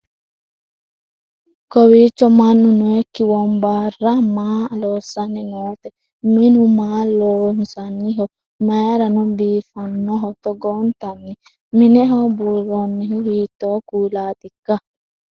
kowicho mannu nookki wombarra maa loossanni noote ? minu maa loonsanniho mayirano biifannoho togoontanni ? mineho buurroonnihu hiitto kuulaatikka ?